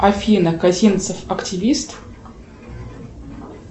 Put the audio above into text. афина косинцев активист